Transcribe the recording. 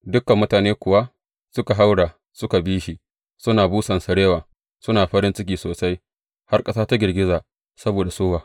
Dukan mutane kuwa suka haura suka bi shi, suna busan sarewa, suna farin ciki sosai, har ƙasa ta girgiza saboda sowa.